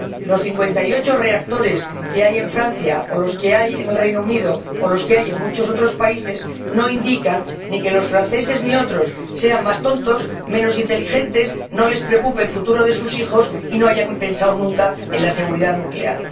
Los 58 reactores que hay en Francia o los que hay en el Reino Unido o los que hay en muchos otros países no indican ni que los franceses y otros sean más tontos, menos inteligentes, ni que no les preocupe el futuro de sus hijos, ni que no hayan pensado nunca en la seguridad nuclear.